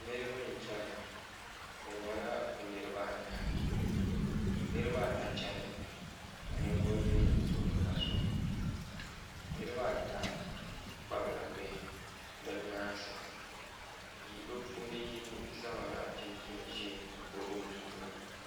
Niraba n chɛna bi nyɛla bi niraba anahi niraba ata chɛnimi ka ninvuɣu yino tuɣuriba soli niraba ata kpabila bihi bi nyaansi bi puuni yino zaŋla chinchin ʒiɛ n kpabi o bia maa